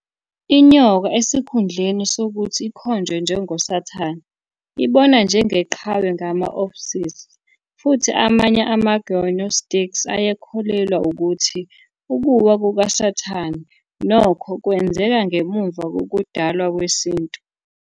Inyoka, esikhundleni sokuthi ikhonjwe njengoSathane, ibonwa njengeqhawe ngama- Ophites. Futhi amanye amaGnostics ayekholelwa ukuthi ukuwa kukaSathane, nokho, kwenzeka ngemuva kokudalwa kwesintu.